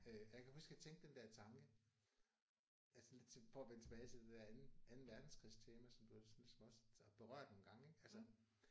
Øh jeg kan huske jeg tænkte den der tanke altså lidt til for at vende tilbage til det der anden anden verdenskrigs tjener som du også ligesom også har berørt engang ik altså